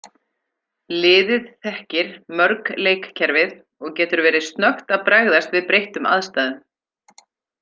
Liðið þekkir mörg leikkerfið og getur verið snöggt að bregðast við breyttum aðstæðum.